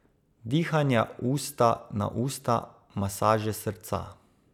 Dihanja usta na usta, masaže srca.